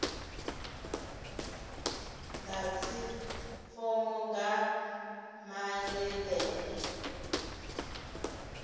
ḓadze fomo nga maḽe ḓere